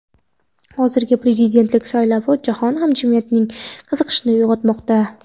Hozirgi prezidentlik saylovi jahon hamjamiyatining qiziqishini uyg‘otmoqda.